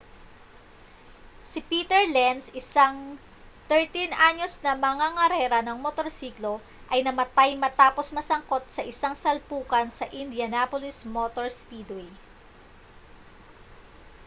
si peter lenz isang 13-anyos na mangangarera ng motorsiklo ay namatay matapos masangkot sa isang salpukan sa indianapolis motor speedway